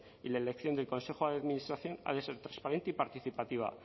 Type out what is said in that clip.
y la elección del consejo de administración ha de ser transparente y participativa